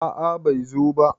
a a bai zo ba